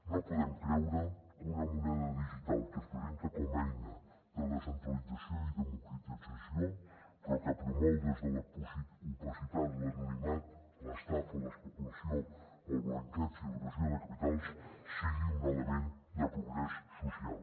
no podem creure que una moneda digital que es presenta com a eina de descentralització i democratització però que promou des de l’opacitat l’anonimat l’estafa l’especulació el blanqueig i l’evasió de capitals sigui un element de progrés social